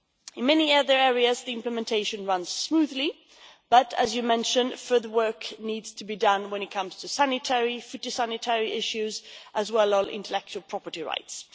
In many other areas the implementation runs smoothly, but as you mention, further work needs to be done when it comes to sanitary, phytosanitary issues as well as intellectual property rights.